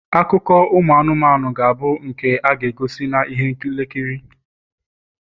akụkọ ụmụ anụmanụ ga-abụ nke a ga-egosi na ihe nlekiri